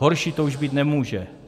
Horší to už být nemůže.